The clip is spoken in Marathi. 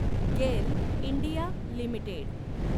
गेल इंडिया लिमिटेड